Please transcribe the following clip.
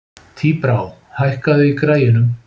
Tíbrá, hækkaðu í græjunum.